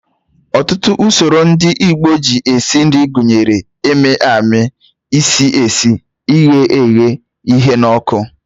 Ọtụtụ usoro ndị Igbo si esi nri gụnyere ịmị amị, isi esi, ighe eghe, ịhụ n'ọkụ